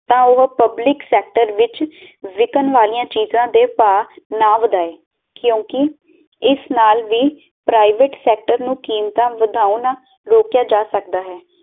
ਤਾ ਉਹ public sector ਵਿੱਚ ਵਿਕਣ ਵਾਲੀਆਂ ਚੀਜਾਂ ਦੇ ਭਾਅ ਨਾ ਵਧਾਏ ਕਿਉਂਕਿ ਇਸ ਨਾਲ ਵੀ ਪ੍ਰਈਵੇਟ ਸੈਕਟਰ ਨੂੰ ਕੀਮਤਾਂ ਵਧਾਉਣ ਨਾਲ ਰੋਕਿਆ ਜਾ ਸਕਦਾ ਹੈ